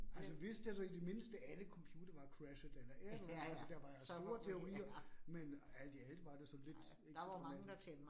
Altså hvis der så i det mindste alle computere var crashet eller et eller andet, altså der var store teorier, men alt i alt var der så lidt instrument